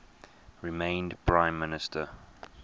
remained prime minister